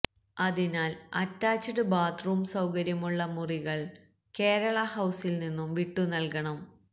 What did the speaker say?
അതിനാല് attached bathroom സൌകര്യമുള്ള മുറികള് കേരള ഹൌസില് നിന്നും വിട്ടുനല്കണം